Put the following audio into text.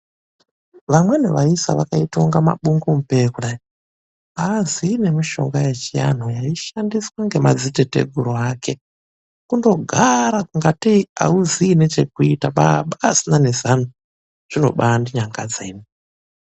VAMWENI VAISA VAKAITA KUNGE MABUNGUMUPEYA KUDAI AAZII NEMISHONGA YECHIANHU YAISHANDISWA NEMADZITATEGURU AKE KUNDOGAARA KUNGA TEI AUZII NECHEKUITA BABA ASINA NEZANO, ZVINO BAYI NDINYANGADZA.